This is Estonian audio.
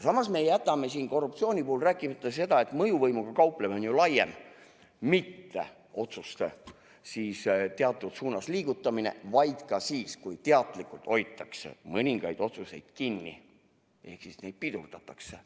Samas me jätame korruptsiooni puhul rääkimata selle, et mõjuvõimuga kauplemine on ju laiem: mitte üksnes otsuste teatud suunas liigutamine, vaid ka see, kui teadlikult hoitakse mõningaid otsuseid kinni ehk nende tegemist pidurdatakse.